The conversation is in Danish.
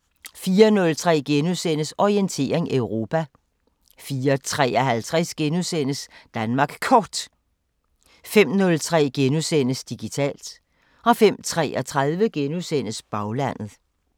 04:03: Orientering Europa * 04:53: Danmark Kort * 05:03: Digitalt * 05:33: Baglandet *